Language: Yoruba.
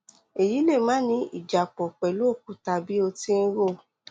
èyí lè máà ní ìjápọ pẹlú òkúta bí o ti ń rò